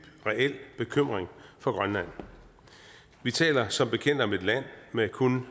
reel bekymring for grønland vi taler som bekendt om et land med kun